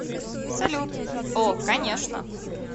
салют о конечно